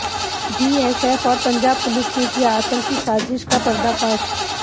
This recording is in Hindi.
बीएसएफ और पंजाब पुलिस ने किया आतंकी साजिश का पर्दाफाश